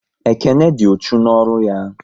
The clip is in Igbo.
Ekene dị uchu n'ọrụ ya